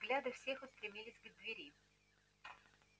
взгляды всех устремились к двери